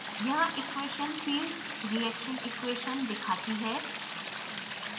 यहाँ equation field reaction equation दिखाती है